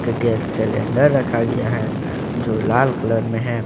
की gas cylinder रखा गया है जो लाल कलर में है।